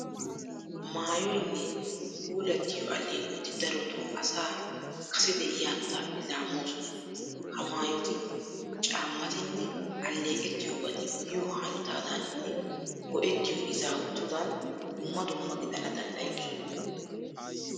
Maayoynne puulattiyo alleeqoti darotoo asaa kase de'iya hanotaappe laammoosona. Ha maayoti, caammatinne alleeqettiyobati biyo hanotaadaaninne go"ettiya izaawatudan dumma dumma gidana danddayoosona.